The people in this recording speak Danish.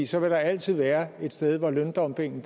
så vil der altid være et sted hvor løndumpingen